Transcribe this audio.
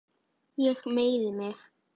Ég meiði mig.